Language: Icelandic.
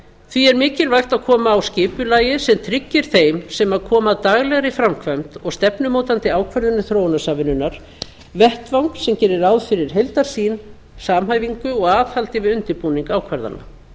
því er mikilvægt að koma á skipulagi sem tryggir þeim sem koma að daglegri framkvæmd og stefnumótandi ákvörðunum þróunarsamvinnunnar vettvang sem gerir ráð fyrir heildarsýn samhæfingu og aðhaldi við undirbúning ákvarðana